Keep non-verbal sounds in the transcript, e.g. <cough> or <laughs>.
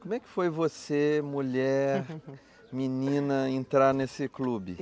Como é que foi você, mulher, <laughs> menina, entrar nesse clube?